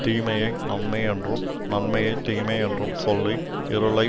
தீமையை நன்மையென்றும் நன்மையை தீமையென்றும் சொல்லி இருளை